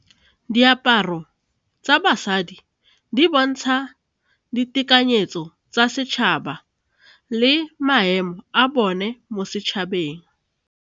Diaparo tsa basadi di bontsha ditekanyetso tsa setšhaba le maemo a bone mo setšhabeng.